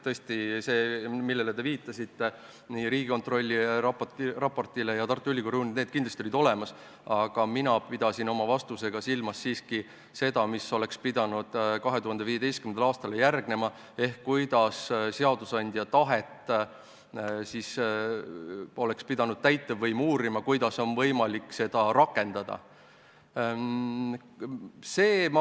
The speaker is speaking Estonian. Tõesti, need allikad, millele te viitasite – nii Riigikontrolli raport kui ka Tartu Ülikooli uuring –, need kindlasti olid olemas, aga mina pidasin oma vastusega silmas siiski seda, mis oleks pidanud 2015. aastal järgnema, ehk seda, kuidas täitevvõim oleks pidanud uurima, kuidas seadusandja tahet on võimalik rakendada.